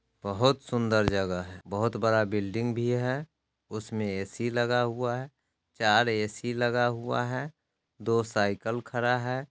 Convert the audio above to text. बहुत सुन्दर जगह है बहुत बड़ा बिल्डिंग भी है उसमें ए_सी लगा हुआ है चार ए_सी लगा हुआ है दो साइकिल खड़ा है।